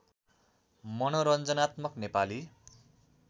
मनोरञ्जनात्मक नेपाली